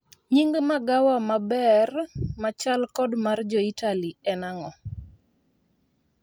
Nying magawa ma maber machal kod mar jo Itali en ang'o